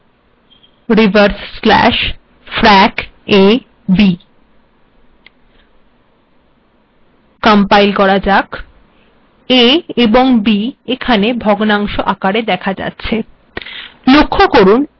a এবং b এখানে ভগ্নাংশ আকারে দেখা যাচ্ছে